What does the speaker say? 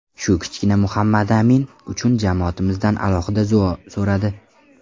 Shu kichkina Muhammadamin uchun jamoatimizdan alohida duo so‘radi.